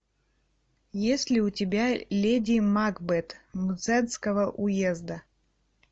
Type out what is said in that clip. есть ли у тебя леди макбет мценского уезда